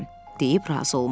Deyib razı olmadı.